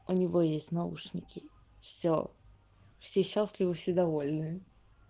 у него есть наушники все все счастливы все довольны